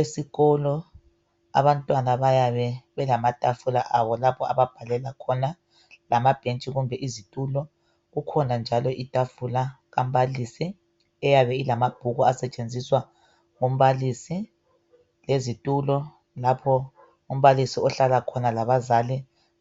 Esikolo abantwana bayabe belamatafula abo, lapho ababhalela khona. Lamabhentshi kumbe izitulo. Kukhona njalo itafula, kambalisi. Eyabe ilamabhuku, asetshenziswa ngumbalisi. Lezitulo lapho umbalisi ahlala khona labazali,